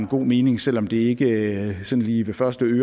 god mening selv om det ikke sådan lige ved første